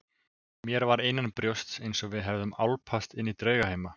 Mér var innanbrjósts einsog við hefðum álpast inní draugheima.